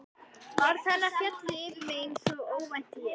Orð hennar féllu yfir mig einsog óvænt él.